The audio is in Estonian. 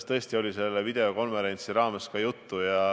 Sellest oli selle videokonverentsi raames ka juttu.